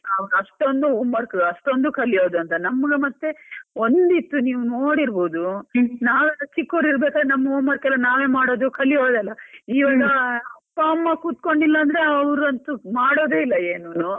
ಅಷ್ಟೊಂದು home work ಅಷ್ಟೊಂದು ಕಲಿಯುದಂತ ನಮಗ್ ಮತ್ತೆ ಒಂದ್ ಇತ್ತು, ನೀವು ನೋಡಿರ್ಬೋದು ನಾವು ಚಿಕ್ಕವರ್ ಇರ್ಬೇಕಾದ್ರೆ ನಾವು ನಮ್ಮ home work ಎಲ್ಲಾ ನಾವೇ ಮಾಡೋದು ಕಲಿಯೋದೆಲ್ಲ. ಇವಾಗ ಅಪ್ಪ ಅಮ್ಮ ಕೂತ್ಕೊಂಡಿಲ್ಲ ಅಂದ್ರೆ, ಅವ್ರು ಅಂತೂ ಮಾಡೋದೆ ಇಲ್ಲ ಏನು.